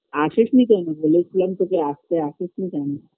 আসিস নি কেন বলেছিলাম তোকে আসতে আসিস নি কেন